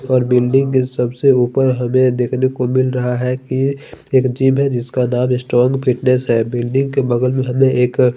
और बिल्डिंग के सबसे ऊपर हमें देखने को मिल रहा है कि एक जिम है जिसका नाम स्ट्रांग फिटनेस है बिल्डिंग के बगल में हमें एक--